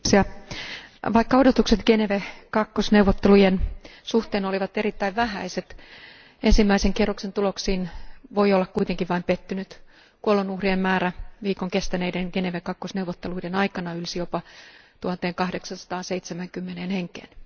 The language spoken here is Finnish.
Arvoisa puhemies, vaikka odotukset Geneve II neuvottelujen suhteen olivat erittäin vähäiset, ensimmäisen kierroksen tuloksiin voi olla kuitenkin vain pettynyt. Kuolonuhrien määrä viikon kestäneiden Geneve II neuvotteluiden aikana ylsi jopa 1870 henkeen.